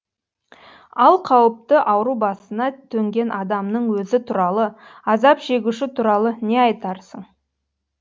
ал қауіпті ауру басына төнген адамның өзі туралы азап шегуші туралы не айтарсың